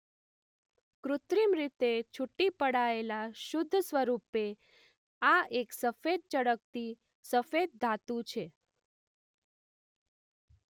કૃત્રિમ રીતે છૂટી પડાયેલા શુદ્ધ સ્વરૂપે આ એક સફેદ ચળકતી સફેદ ધાતુ છે.